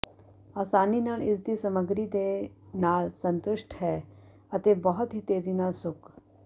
ਆਸਾਨੀ ਨਾਲ ਇਸ ਦੀ ਸਮੱਗਰੀ ਦੇ ਨਾਲ ਸੰਤੁਸ਼ਟ ਹੈ ਅਤੇ ਬਹੁਤ ਹੀ ਤੇਜ਼ੀ ਨਾਲ ਸੁੱਕ